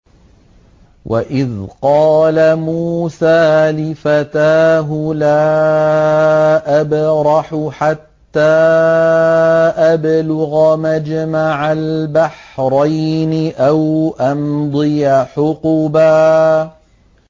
وَإِذْ قَالَ مُوسَىٰ لِفَتَاهُ لَا أَبْرَحُ حَتَّىٰ أَبْلُغَ مَجْمَعَ الْبَحْرَيْنِ أَوْ أَمْضِيَ حُقُبًا